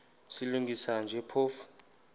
silungisa nje phofu